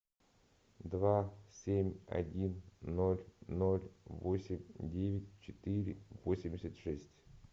два семь один ноль ноль восемь девять четыре восемьдесят шесть